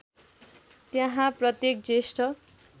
त्यहाँ प्रत्येक ज्येष्ठ